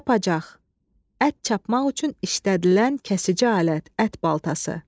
Çapacax, ət çapmaq üçün işlədilən kəsici alət, ət baltası.